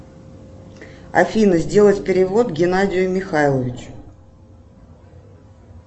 афина сделать перевод геннадию михайловичу